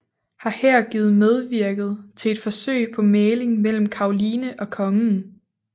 Har her givet medvirket til et forsøg på mægling mellem Caroline og Kongen